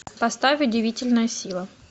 поставь удивительная сила